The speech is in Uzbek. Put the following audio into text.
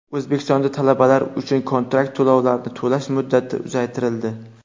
O‘zbekistonda talabalar uchun kontrakt to‘lovlarini to‘lash muddati uzaytirildi.